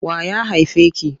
Wa ya haife ki?